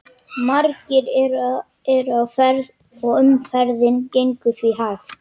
Margir eru á ferð og umferðin gengur því hægt.